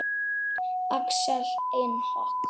Axel Enok.